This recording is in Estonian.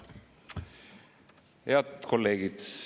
Head kolleegid!